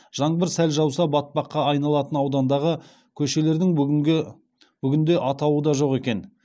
жаңбыр сәл жауса батпаққа айналатын аудандағы көшелердің бүгінде атауы да жоқ екен